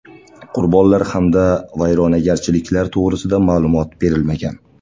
Qurbonlar hamda vayronagarchiliklar to‘g‘risida ma’lumot berilmagan.